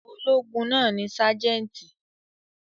Ológun náà ni sájẹ́ńtì.